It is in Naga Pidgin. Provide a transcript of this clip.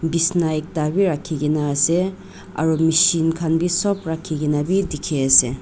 bisna ekta bi rakhikaena ase aro machine khan bi sop rakhikaena bi dikhiase.